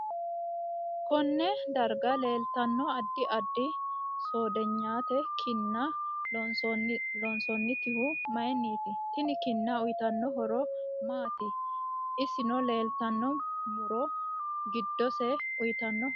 Konne darga leeltanno addi addi soodiyete kinna loosantinohu mayiiniti tini kinna uyiitano horo maati ulesw leeltanno muro giddose uyiitanno horo maati